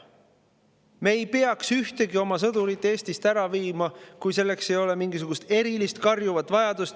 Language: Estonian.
Me ei peaks ühtegi oma sõdurit Eestist ära viima, kui selleks ei ole mingisugust erilist karjuvat vajadust.